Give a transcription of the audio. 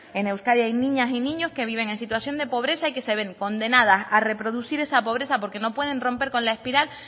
en euskadi hay niñas y niños que viven en situación de pobreza y que se ven condenadas a reproducir esa pobreza porque no pueden romper con la espiral